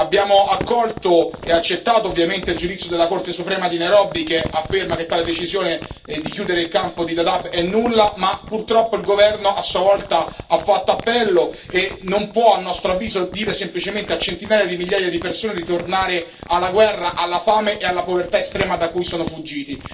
Abbiamo accolto e accettato, ovviamente, il giudizio della Corte suprema di Nairobi che afferma che tale decisione, di chiudere il campo di Dadaab, è nulla, ma purtroppo il governo a sua volta ha fatto appello e non può, a nostro avviso, dire semplicemente a centinaia di migliaia di persone di tornare alla guerra, alla fame e alla povertà estrema da cui sono fuggiti.